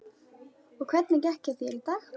Og hvernig gekk hjá þér í dag?